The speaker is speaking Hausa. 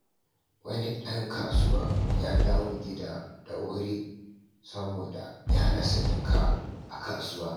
Wani dan kasuwa ya dawo gida da wuri saboda ya rasa jaka a kasuwa.